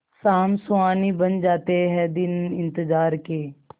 शाम सुहानी बन जाते हैं दिन इंतजार के